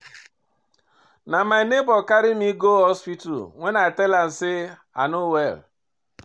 Na my nebor carry me go hospital wen I tell am sey I no well.